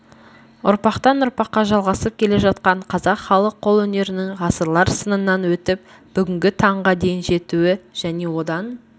ұрпақтан-ұрпаққа жалғасып келе жатқан қазақ халық қолөнерінің ғасырлар сынынан өтіп бүгінгі таңға дейін жетуі және одан